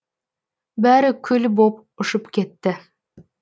бәрі күл боп ұшып кетті